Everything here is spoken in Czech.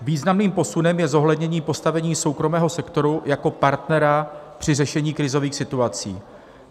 Významným posunem je zohlednění postavení soukromého sektoru jako partnera při řešení krizových situací.